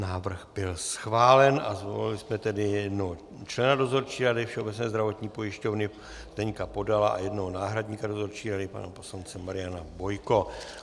Návrh byl schválen a zvolili jsme tedy jednoho člena Dozorčí rady Všeobecné zdravotní pojišťovny Zdeňka Podala a jednoho náhradníka Dozorčí rady pana poslance Mariana Bojka.